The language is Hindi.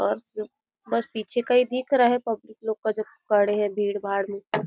बस बस पीछे का ही दिख रहा पब्लिक लोग का जो खड़े है भीड़-भाड़ में--